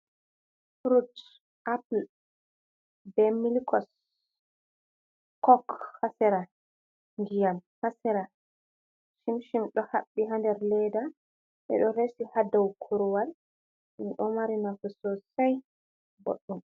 Furut appul, be milkos, kok, haa sera, ndiyam haa sera, shim-shim ɗo haɓɓi Haa nder leeda, ɓe ɗo resi haa doo kurwal ɗum ɗo mari nafu sosai boɗɗum.